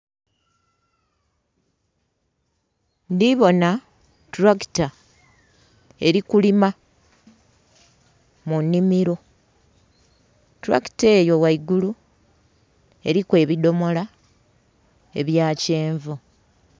Ndhi bona Tractor eli kulima mu nnhimilo. Tractor eyo ghaigulu eliku ebidomola ebya kyenvu.